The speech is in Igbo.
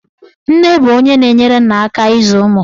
Nne bụ onye na-enyere nna aka ịzụ ụmụ.